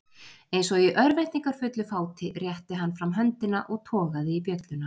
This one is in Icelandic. Eins og í örvæntingarfullu fáti rétti hann fram höndina og togaði í bjölluna.